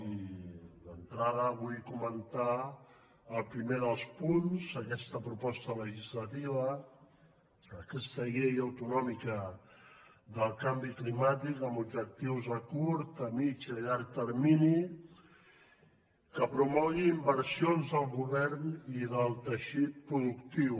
i d’entrada vull comentar el primer dels punts d’aquesta proposta legislativa aquesta llei autonòmica del canvi climàtic amb objectius a curt a mitjà i a llarg termini que promogui inversions del govern i del teixit productiu